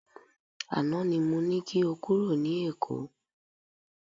Àná ni mo ní kí o kúrò ní Èkó.